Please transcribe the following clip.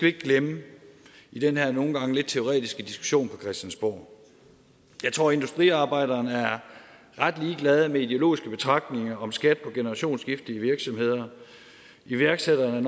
ikke glemme i den her nogle gange lidt teoretiske diskussion på christiansborg jeg tror at industriarbejderne er ret ligeglade med ideologiske betragtninger om skat på generationsskifte i virksomheder iværksætterne er